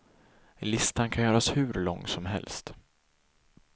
Listan kan göras hur lång som helst.